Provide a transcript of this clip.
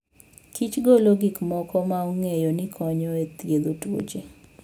Kich golo gik moko ma ong'eyo ni konyo e thiedho tuoche.